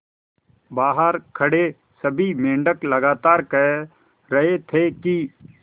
बहार खड़े सभी मेंढक लगातार कह रहे थे कि